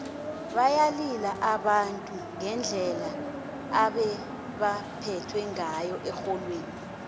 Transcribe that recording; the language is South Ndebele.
bayalila abantu ngendlela ebebaphethwe ngayo erholweni